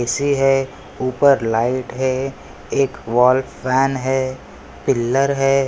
AC है ऊपर light है एक वाल फ़ैन है पीलर है।